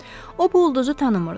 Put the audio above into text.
O bu ulduzu tanımırdı.